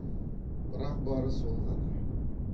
бірақ бары сол ғана